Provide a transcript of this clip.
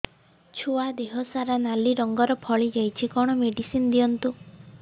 ଛୁଆ ଦେହ ସାରା ନାଲି ରଙ୍ଗର ଫଳି ଯାଇଛି କଣ ମେଡିସିନ ଦିଅନ୍ତୁ